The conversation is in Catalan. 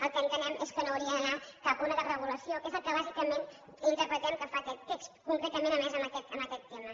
el que entenem és que no hauria d’anar cap a una desregulació que és el que bàsicament interpretem que fa aquest text concretament a més amb aquest tema